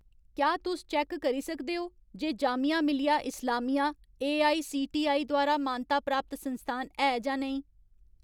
क्या तुस चैक्क करी सकदे ओ जे जामिया मिलिया इस्लामिया एआईसीटीई द्वारा मानता प्राप्त संस्थान है जां नेईं ?